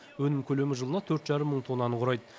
өнім көлемі жылына төрт жарым мың тоннаны құрайды